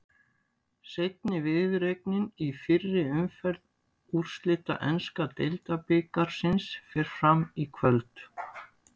Seinni viðureignin í fyrri umferð úrslita enska deildabikarsins fer fram í kvöld.